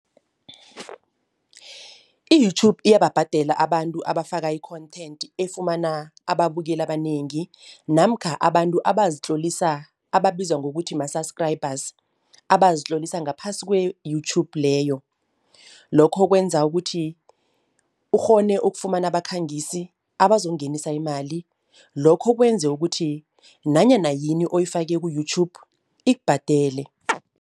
I-YouTube iyababhadela abantu abafaka i-content efumana ababukeli abanengi namkha abantu abazitlolisa ababizwa ngokuthi ma-subscribers, abazitlolisa ngaphasi kwe-YouTube leyo. Lokho kwenza ukuthi ukghone ukufumana abakhangisi abazongenisa imali, lokho kwenze ukuthi nanyana yini oyifake ku-YouTube ikubhadele.